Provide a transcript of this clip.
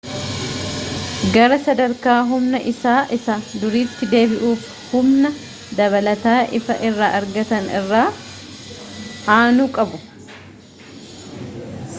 gara sadarka humna isaa isa duritti deebi'uuf humna dabalata ifaa irra argatan irra aanu qabu